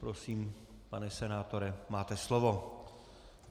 Prosím, pane senátore, máte slovo.